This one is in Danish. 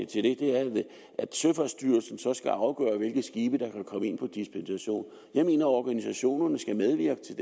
til det er at søfartsstyrelsen så skal afgøre hvilke skibe der kan komme ind på dispensation jeg mener organisationerne skal medvirke til